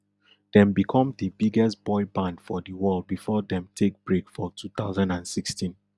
dem become di biggest boy band for di world before dem take break for two thousand and sixteen